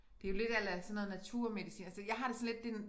Det jo lidt a la sådan noget naturmedicin altså jeg har det sådan lidt det en